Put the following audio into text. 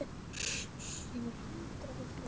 Júlíu mína þar sem hún svaf vært í rúminu sínu.